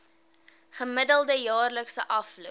gemiddelde jaarlikse afloop